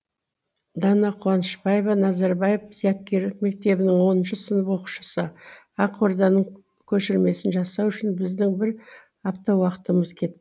дана қуанышбаева назарбаев зияткерлік мектебінің оныншы сынып оқушысы ақорданың көшірмесін жасау үшін біздің бір апта уақытымыз кет